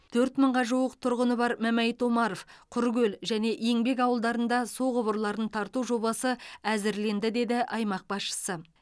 төрт мыңға жуық тұрғыны бар мәмәйіт омаров құркөл және еңбек ауылдарында су құбырларын тарту жобасы әзірленді деді аймақ басшысы